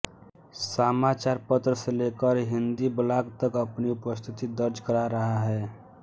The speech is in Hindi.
समाचारपत्र से लेकर हिंदी ब्लॉग तक अपनी उपस्थिति दर्ज करा रहा है